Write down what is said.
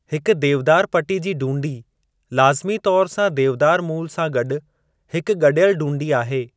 हिकु देवदार पटी जी डूंडी लाज़िमी तौर सां देवदार मूलु सां गॾु , हिकु गॾियलु डूंडी आहे।